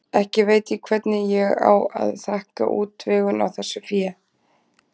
Ekki veit ég hvernig ég á að þakka útvegun á þessu fé.